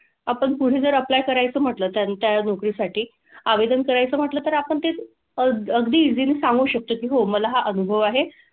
आपण कुठे जर apply करायचं म्हंटलं तर त्या नोकरीसाठी आवेदन करायचं म्हंटलं तर आपण ते अग अगदी easily सांगू शकतो, की हो मला हा अनुभव आहे.